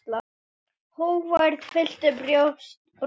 Hógværð fyllti brosið.